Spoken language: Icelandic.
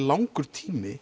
langur tími